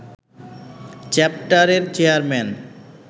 চ্যাপ্টারের চেয়ারম্যান